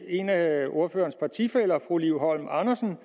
en af ordførerens partifæller fru liv holm andersen